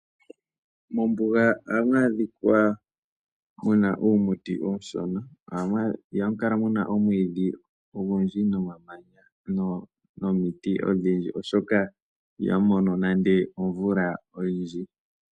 Mombuga ohamu adhika muna uumuti uushona. Ihamu kala muna omwidhi ogundji, nomamanya, nomiti odhindji oshoka ihamu mono nande omvula oyindji.